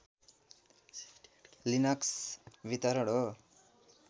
Linux वितरण हो